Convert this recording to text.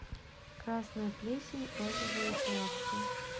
красная плесень розовые плавки